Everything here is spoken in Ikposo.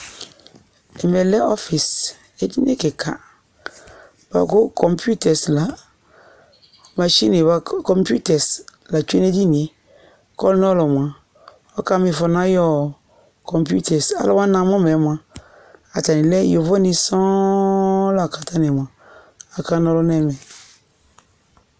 ɛmɛ lɛ ɔfis edini keka boa kò kɔmputɛs la mashin ɛ boa kò kɔmputɛs la tsue n'edinie k'ɔlò n'ɔlò moa ɔka m'ifɔ n'ayi kɔmputɛs alowani namo ma yɛ moa atani lɛ yovu ni sɔŋ la k'atani moa aka n'ɔlu n'ɛmɛ